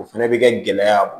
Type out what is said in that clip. O fɛnɛ bɛ kɛ gɛlɛya